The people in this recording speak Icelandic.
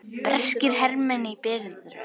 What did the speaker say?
Breskir hermenn í biðröð.